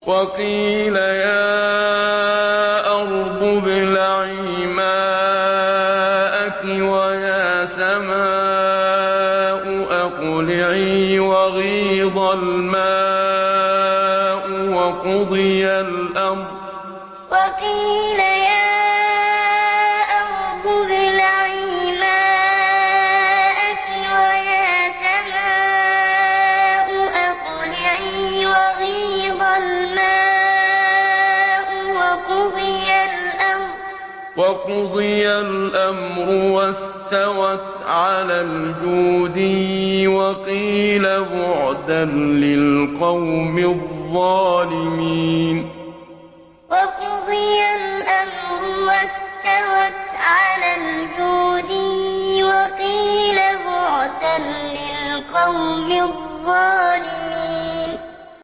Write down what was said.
وَقِيلَ يَا أَرْضُ ابْلَعِي مَاءَكِ وَيَا سَمَاءُ أَقْلِعِي وَغِيضَ الْمَاءُ وَقُضِيَ الْأَمْرُ وَاسْتَوَتْ عَلَى الْجُودِيِّ ۖ وَقِيلَ بُعْدًا لِّلْقَوْمِ الظَّالِمِينَ وَقِيلَ يَا أَرْضُ ابْلَعِي مَاءَكِ وَيَا سَمَاءُ أَقْلِعِي وَغِيضَ الْمَاءُ وَقُضِيَ الْأَمْرُ وَاسْتَوَتْ عَلَى الْجُودِيِّ ۖ وَقِيلَ بُعْدًا لِّلْقَوْمِ الظَّالِمِينَ